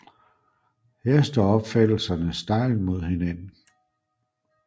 Her står opfattelserne stejlt mod hinanden